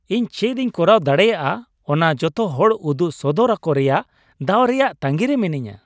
ᱤᱧ ᱪᱮᱫ ᱤᱧ ᱠᱚᱨᱟᱣ ᱫᱟᱲᱮᱹᱭᱟᱜᱼᱟ ᱚᱱᱟ ᱡᱚᱛᱚ ᱦᱚᱲ ᱩᱫᱩᱜ ᱥᱚᱫᱚᱨ ᱟᱠᱚ ᱨᱮᱭᱟᱜ ᱫᱟᱣ ᱨᱮᱭᱟᱜ ᱛᱟᱺᱜᱤ ᱨᱮ ᱢᱤᱱᱟᱹᱧᱟ ᱾